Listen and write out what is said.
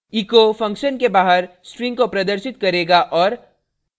echo function के बाहर string को प्रदर्शित करेगा और